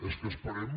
és que esperem